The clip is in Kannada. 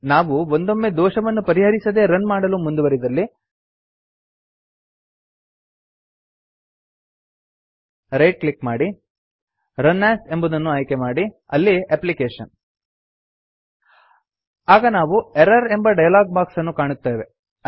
ನಾವು ಒಂದೊಮ್ಮೆ ದೋಷವನ್ನು ಪರಿಹರಿಸದೇ ರನ್ ಮಾಡಲು ಮುಂದುವರಿದಲ್ಲಿ ರೈಟ್ ಕ್ಲಿಕ್ ಮಾಡಿ ರನ್ ಎಎಸ್ ಎಂಬುದನ್ನು ಆಯ್ಕೆಮಾಡಿ ಅಲ್ಲಿ ಅಪ್ಲಿಕೇಶನ್ ಆಗ ನಾವು ಎರ್ರರ್ ಎಂಬ ಡಯಲಾಗ್ ಬಾಕ್ಸ್ ಅನ್ನು ಕಾಣುತ್ತೇವೆ